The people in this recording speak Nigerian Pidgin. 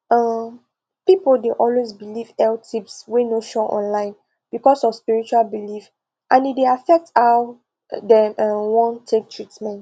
um people dey always believe health tips wey no sure online because of spiritual belief and e dey affect how dem um wan take treatment